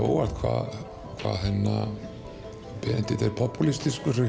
óvart hvað Benedikt er